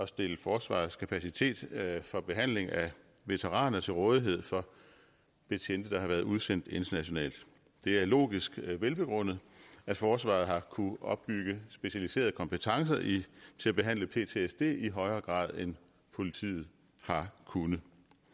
stille forsvarets kapacitet for behandling af veteraner til rådighed for betjente der har været udsendt internationalt det er logisk velbegrundet at forsvaret har kunnet opbygge specialiserede kompetencer til at behandle ptsd i højere grad end politiet har kunnet